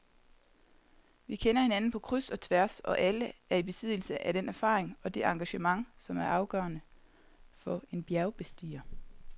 Vi kender hinanden på kryds og tværs og er alle i besiddelse af den erfaring og det engagement, som er afgørende for en bjergbestiger.